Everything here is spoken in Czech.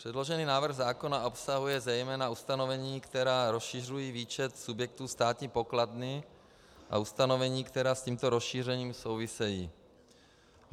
Předložený návrh zákona obsahuje zejména ustanovení, která rozšiřují výčet subjektů státní pokladny, a ustanovení, která s tímto rozšířením souvisejí.